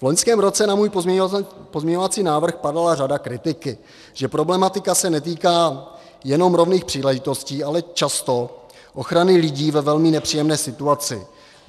V loňském roce na můj pozměňovací návrh padala řada kritiky, že problematika se netýká jenom rovných příležitostí, ale často ochrany lidí ve velmi nepříjemné situaci.